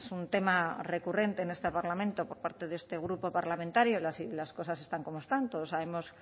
un tema recurrente en este parlamento por parte de este grupo parlamentario las cosas están como están todos sabemos